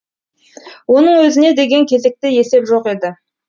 оның өзіне деген кезекте есеп жоқ еді